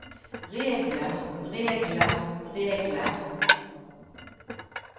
regler regler regler